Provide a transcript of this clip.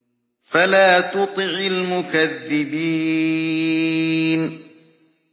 فَلَا تُطِعِ الْمُكَذِّبِينَ